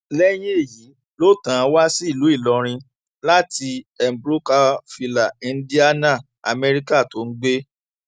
lẹyìn èyí ló tàn án wá sí ìlú ìlọrin láti mbrokerville indiana amẹríkà tó ń gbé